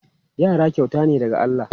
Yara kyauta ne daga Allah.